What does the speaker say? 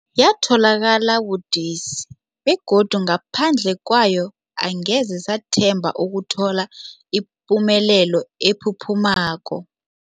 Yatholakala budisi, begodu ngaphandle kwayo angeze sathemba ukuthola ipumelelo ephuphumako.